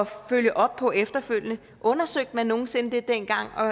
følge op på efterfølgende undersøgte man det nogensinde dengang og